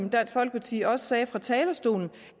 i dansk folkeparti også sagde fra talerstolen